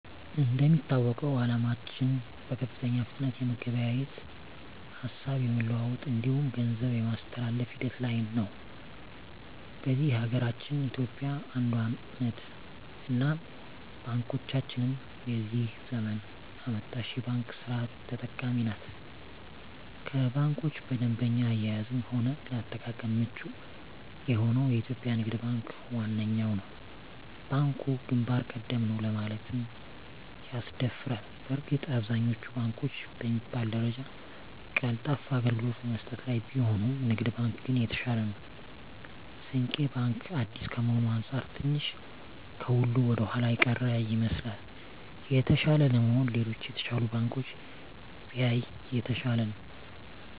እንደሚታወቀዉ አለማችን በከፍተኛ ፍጥነት የመገበያየት፣ ሀሳብ የመለዋወጥ እንዲሁም ገንዘብ የማስተላፍ ሂደት ላይ ነዉ። በዚህ ሀገራችን ኢትዮጵያ አንዷ ነት እናም ባንኮቻችንም የዚህ ዘመን አመጣሽ የባንክ ስርት ተጠቃሚ ናት ከባንኮች በደንበኛ አያያዝም ሆነ ለአጠቃቀም ምቹ የሆነዉ የኢትዮጵያ ንግድ ባንክ ዋነኛዉ ነዉ። ባንኩ ግንባር ቀደም ነዉ ለማለትም ያስደፍራል በእርግጥ አብዛኛወቹ ባንኮች በሚባል ደረጃ ቀልጣፋ አገልግሎት በመስጠት ላይ ቢሆኑም ንግድ ባንክ ግን የተሻለ ነዉ። ስንቄ ባንክ አዲስ ከመሆኑ አንፃር ትንሽ ከሁሉ ወደኋላ የቀረ ይመስላል። የተሻለ ለመሆን ሌሎች የተሻሉ ባንኮችን ቢያይ የተሻለ ነዉ።